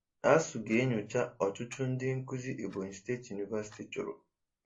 ASUU ga-enyocha ọchụchụ ndị nkuzi Ebonyi State University chụrụ.